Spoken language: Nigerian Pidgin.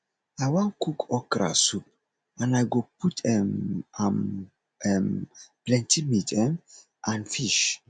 i wan cook okra soup and i go put um am um plenty meat um and fish